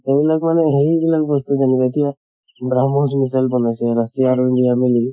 এইবিলাক মানে সেই বিলাক বস্তু জানবা এতিয়া ব্ৰাম্হচ missile বনাইছে russia আৰু india মিলি